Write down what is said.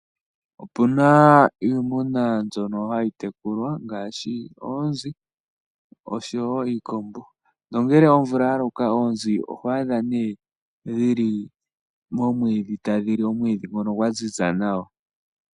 Opuna iimuna mbyono hayi tekulwa ngashi oonzi osho wo iikondo, nongele omvula yaloka oonzi ohwatha ne dhili momwidhi tadhili omwidhi ngono ngwanzinza nawa.